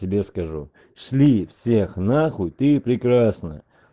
тебе скажу шли всех на хуй ты прекрасна